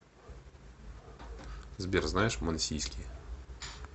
сбер знаешь мансийский